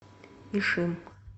ишим